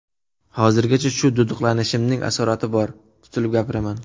Hozirgacha shu duduqlanishimning asorati bor, tutilib gapiraman.